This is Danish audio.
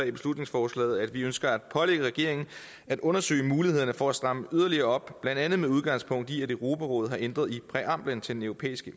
i beslutningsforslaget at vi ønsker at pålægge regeringen som at undersøge mulighederne for at stramme yderligere op blandt andet med udgangspunkt i at europarådet har ændret i præamblen til den europæiske